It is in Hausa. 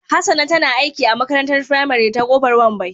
Hassana tana aiki a makarantar firamare ta Kofar Wambai